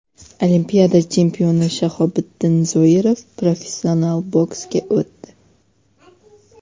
Olimpiada chempioni Shahobiddin Zoirov professional boksga o‘tdi.